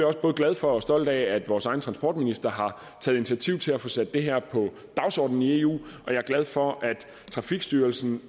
også både glad for og stolt af at vores egen transportminister har taget initiativ til at få sat det her på dagsordenen i eu og jeg er glad for at trafikstyrelsen